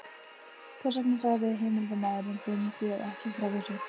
Hvers vegna sagði heimildarmaður þinn þér ekki frá þessu?